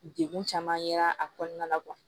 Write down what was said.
Degun caman yera a kɔnɔna la